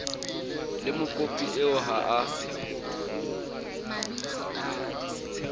le mokopi eo ha ho